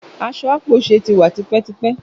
Aṣọ ápóse tí wà tipétipé